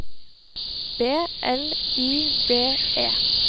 B L I D E